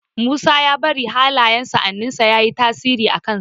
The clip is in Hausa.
Musa ya bari hallayen sa'annin sa yayi tasiri a kan sa